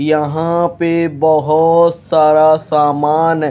यहां पे बहोत सारा सामान--